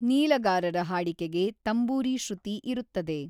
ನೀಲಗಾರರ ಹಾಡಿಕೆಗೆ ತಂಬೂರಿ ಶುೃತಿ ಇರುತ್ತದೆ.